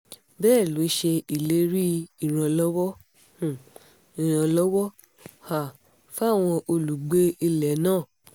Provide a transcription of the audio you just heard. bẹ́ẹ̀ ló ṣe ìlérí ìrànlọ́wọ́ um ìrànlọ́wọ́ um fáwọn olùgbé ilẹ̀ náà